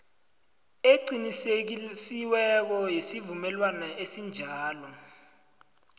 eqinisekisiweko yesivumelwano esinjalo